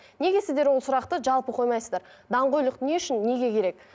неге сіздер ол сұрақты жалпы қоймайсыздар даңғойлық не үшін неге керек